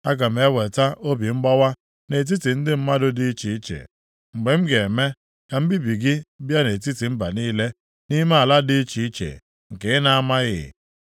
Aga m eweta obi mgbawa nʼetiti ndị mmadụ dị iche iche mgbe m ga-eme ka mbibi gị bịa nʼetiti mba niile nʼime ala dị iche iche nke ị na-amaghị.